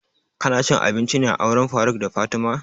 Ka na cin abinci ne a auren faruk da fatima?